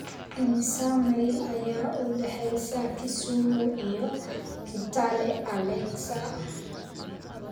Immisa mayl ayaa u dhexeeya Kisumu iyo Kitale Alexa?